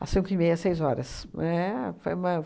a cinco e meia, seis horas, éh, foi uma